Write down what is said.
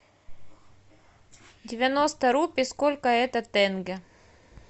девяносто рупий сколько это тенге